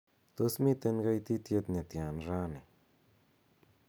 tos miten goititiet netyan raini